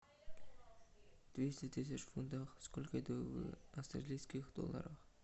двести тысяч фунтов сколько это в австралийских долларах